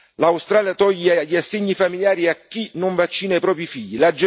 L'Australia toglie gli assegni familiari a chi non vaccina i propri figli.